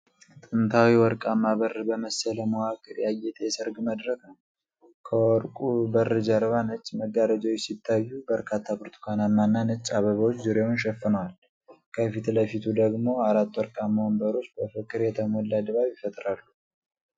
ጥንታዊ ወርቃማ በር በመሰለ መዋቅር ያጌጠ የሰርግ መድረክ ነው። ከወርቁ በር ጀርባ ነጭ መጋረጃዎች ሲታዩ፣ በርካታ ብርቱካንማና ነጭ አበባዎች ዙሪያውን ሸፍነዋል። ከፊት ለፊቱ ደግሞ አራት ወርቃማ ወንበሮች በፍቅር የተሞላ ድባብ ይፈጥራሉ።